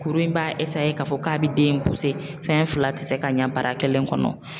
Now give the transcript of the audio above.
Kuru in b'a k'a fɔ k'a bɛ den in fɛn fila tɛ se ka ɲɛ bara kelen kɔnɔ.